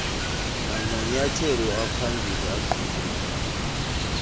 namanyathelo aphambili angquzulanayo